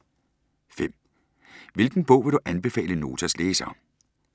5) Hvilken bog vil du anbefale Notas læsere?